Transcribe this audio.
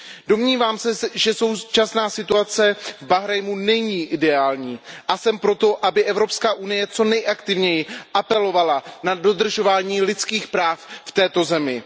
Domnívám se, že současná situace v Bahrajnu není ideální, a jsem pro to, aby Evropská unie co nejaktivněji apelovala na dodržování lidských práv v této zemi.